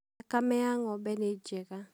Thakame ya ng'ombe nĩ njega.